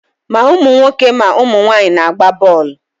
Ma ụmụ nwoke ma ụmụ nwaanyị na-agba bọọlụ.